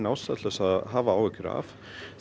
ástæða til að hafa áhyggjur af